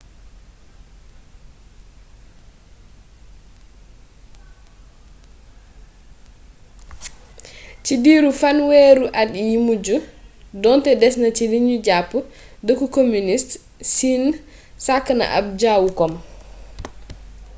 ci diiru fanweeri at yu mujj doonte des na ci lu nu jàpp dëkku kominist siin sàkk na ab jawu kom